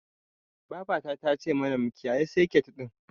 Babata ta ce mana mu kiyayi seket ɗin.